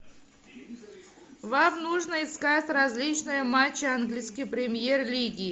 вам нужно искать различные матчи английской премьер лиги